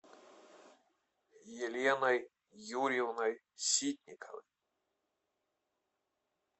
еленой юрьевной ситниковой